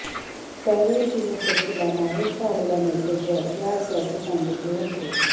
त्यावेळी तिने शशीला मेहरचा आलेला मेसेज वाचला असल्याचे सांगितले होते